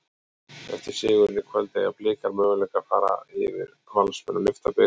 Eftir sigurinn í kvöld, eiga Blikar möguleika fara yfir Valsmenn og lyfta bikar?